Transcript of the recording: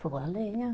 Fogão à lenha.